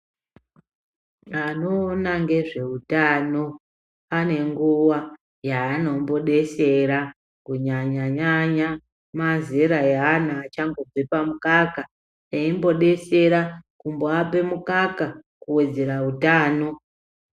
Anoona ngezveutano anenguwa yaanombodesera kunyanya nyanya mazera eana achangobva pamukaka eimbodesera kumboape mukaka kuwedzera utano.